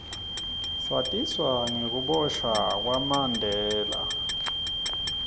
satiswa nengukiboshwa kwamanbela